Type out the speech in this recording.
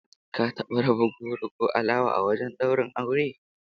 Ka taba raba goro ko alawa a wajen daura aure?